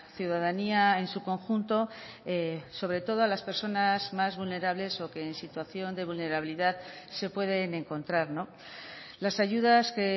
ciudadanía en su conjunto sobre todo a las personas más vulnerables o que en situación de vulnerabilidad se pueden encontrar las ayudas que